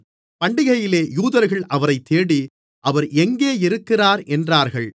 பண்டிகையிலே யூதர்கள் அவரைத் தேடி அவர் எங்கே இருக்கிறார் என்றார்கள்